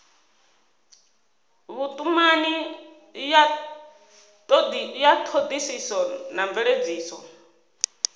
vhutumani ya thodisiso na mveledziso